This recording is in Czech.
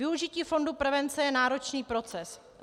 Využití fondu prevence je náročný proces.